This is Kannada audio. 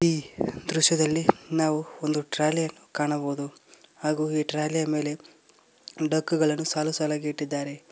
ಈ ದೃಶ್ಯದಲ್ಲಿ ನಾವು ಒಂದು ಟ್ರಾಲಿ ಕಾಣಬಹುದು ಹಾಗು ಈ ಟ್ರಾಲಿ ಯ ಮೇಲೆ ಡಕ್ಕಗಳನ್ನು ಸಾಲುಸಾಲಗಿ ಇಟ್ಟಿದ್ದಾರೆ.